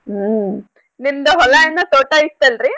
ಹ್ಮ್ ನಿಮ್ದ್ ಹೊಲ ಏನೊ ತೋಟಾ ಇತ್ತಲ್ ರೀ?